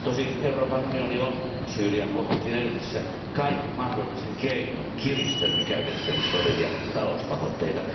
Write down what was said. Tosin Euroopan unioni on Syyrian konfliktin edetessä kaikin mahdollisin keinoin kiristänyt käytettävissä olevia talouspakotteita.